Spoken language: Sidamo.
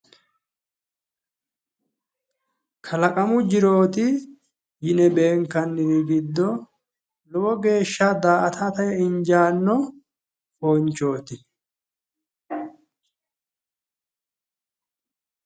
kalamu jirooti yine beenkanniri giddo lowo geeshsha daa''atate injaanno foonchooti.